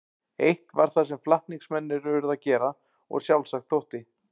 Eitt var það sem flatningsmennirnir urðu að gera og sjálfsagt þótti.